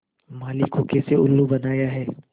माली को कैसे उल्लू बनाया है